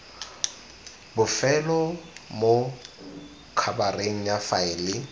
bofelo mo khabareng ya faele